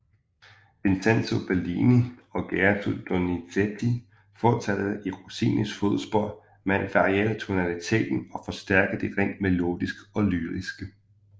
Vincenzo Bellini og Gaetano Donizetti fortsatte i Rossinis fodspor med at variere tonaliteten og forstærke det rent melodiske og lyriske